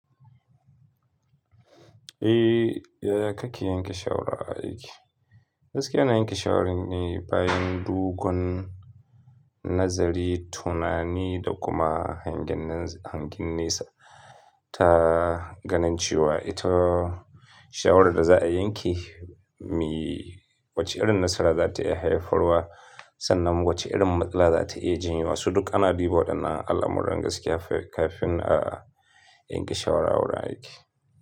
Eh, ya ya kake yanke shawara aiki? Gaskiya ina yanke shawara ne bayan dogon nazari, tunani da kuma hangen nesa ta ganin cewa ita shawarar da za a yanke me wacce irin nasara za ta iya haifarwa sannan wacce irin matsala za ta iya jin su. Duk ana diba da na al'amuran gaskiya kafin a yanke shawara a wurin aiki.